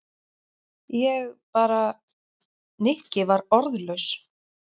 Ég bara. Nikki var orðlaus.